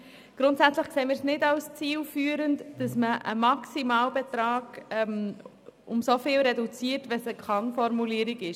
Grundsätzlich erachten wir es nicht als zielführend, einen Maximalbetrag so drastisch zu reduzieren, wenn es sich um eine Kann-Formulierung handelt.